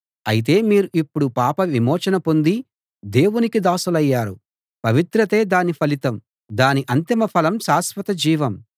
అయితే మీరు ఇప్పుడు పాపవిమోచన పొంది దేవునికి దాసులయ్యారు పవిత్రతే దాని ఫలితం దాని అంతిమ ఫలం శాశ్వత జీవం